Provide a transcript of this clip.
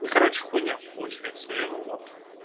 короче хуйня получается у него вот